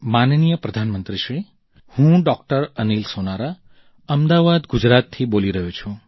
માનનીય પ્રધાન મંત્રી શ્રી હું ડોક્ટર અનિલ સોનારા અમદાવાદ ગુજરાતથી બોલી રહ્યો છું